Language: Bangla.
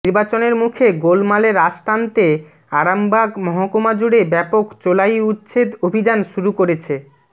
নির্বাচনের মুখে গোলমালে রাশ টানতে আরামবাগ মহকুমাজুড়ে ব্যাপক চোলাই উচ্ছেদ অভিযান শুরু করেছে